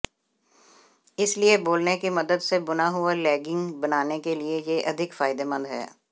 इसलिए बोलने की मदद से बुना हुआ लेगिंग बनाने के लिए यह अधिक फायदेमंद है